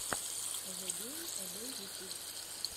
зэгэймэбэй ютьюб